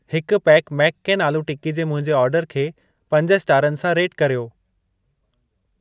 हिकु पैकु मेक केन आलू टिक्की जे मुंहिंजे ऑर्डर खे पंज स्टारनि सां रेट कर्यो।